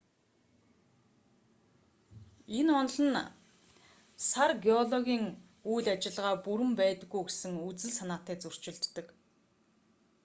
энэ онол нь сар геологийн үйл ажиллагаа бүрэн байдаггүй гэсэн үзэл санаатай зөрчилддөг